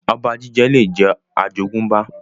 Ọba jíjẹ lè jẹ́ àjogúnbá